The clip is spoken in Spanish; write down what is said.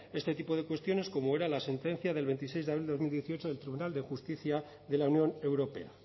este tipo de cuestiones como era la sentencia del veintiséis de abril de dos mil dieciocho del tribunal de justicia de la unión europea